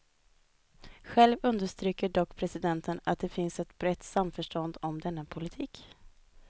Själv understryker dock presidenten att det finns ett brett samförstånd om denna politik.